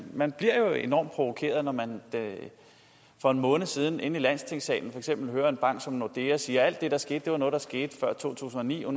man bliver jo enormt provokeret når man for en måned siden inde i landstingssalen for eksempel kunne høre en bank som nordea sige at alt det der skete var noget der skete før to tusind og ni og